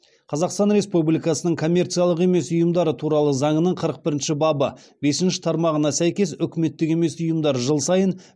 қазақстан республикасының коммерциялық емес ұйымдар туралы заңының қырық бірінші бабы бесінші тармағына сәйкес үкіметтік емес ұйымдар жыл сайын